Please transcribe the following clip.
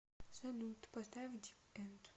салют поставь дип энд